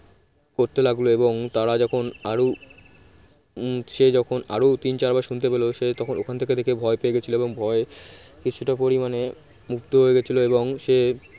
করতে লাগলো এবং তারা যখন আরো হম সে যখন আরও তিন চার বার শুনতে পেল সে তখন ওখান থেকে দেখে ভয় পেয়ে গেছিল এবং ভয়ে কিছুটা পরিমাণে হয়ে গেছিল এবং সে